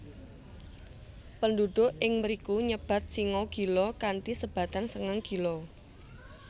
Penduduk ing mriku nyebat singa gila kanthi sebatan sengang gila